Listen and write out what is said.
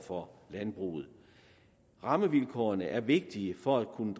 for landbruget rammevilkårene er vigtige for at kunne